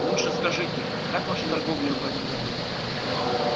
лучше скажите как ваша торговля в этом году